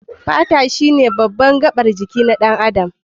Fata shine baban gabar jiki na ɗan adam.